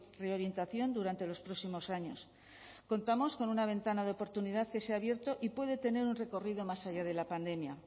reorientación durante los próximos años contamos con una ventana de oportunidad que se ha abierto y puede tener un recorrido más allá de la pandemia